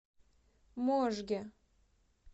можге